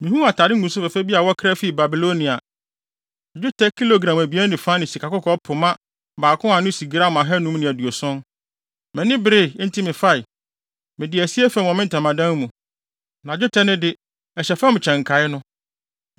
Mihuu atade nguguso fɛfɛ bi a wɔkra fii Babilonia, + 7.21 Hebri mu no, Babilon yɛ Sinar. dwetɛ kilogram abien ne fa ne sikakɔkɔɔ pema baako a ano si gram ahannum ne aduoson (570). Mʼani beree, enti mefae. Mede asie fam wɔ me ntamadan mu, na dwetɛ no de, ɛhyɛ fam kyɛn nkae no.”